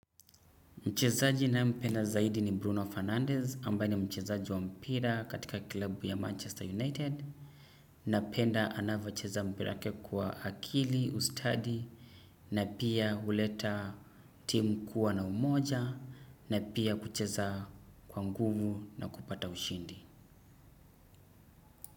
Mchezaji ninayempenda zaidi ni Bruno Fernandez ambaye ni mchezaji wa mpira katika kilabu ya Manchester United. Napenda anavyocheza mpira wake kwa akili, ustadi na pia huleta timu kuwa na umoja na pia kucheza kwa nguvu na kupata ushindi.